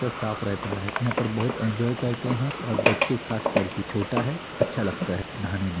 यह साफ रहता है यहाँ पर बहुत इन्जॉय करते है और बच्चे खास करकी छोटा है अच्छा लगता है नहाने मे--